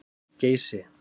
Geysi